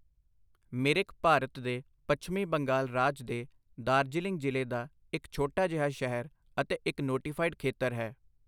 ਮਿਰਿਕ ਭਾਰਤ ਦੇ ਪੱਛਮੀ ਬੰਗਾਲ ਰਾਜ ਦੇ ਦਾਰਜੀਲਿੰਗ ਜ਼ਿਲ੍ਹੇ ਦਾ ਇੱਕ ਛੋਟਾ ਜਿਹਾ ਸ਼ਹਿਰ ਅਤੇ ਇੱਕ ਨੋਟੀਫਾਈਡ ਖੇਤਰ ਹੈ।